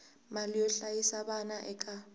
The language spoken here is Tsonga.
mali yo hlayisa vana eka